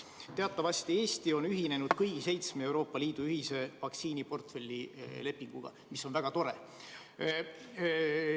Teatavasti Eesti on ühinenud kõigi seitsme Euroopa Liidu ühise vaktsiiniportfelli lepinguga, mis on väga tore.